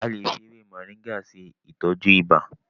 A lè fi ewé Moringa ṣe ìtọ́jú ibà.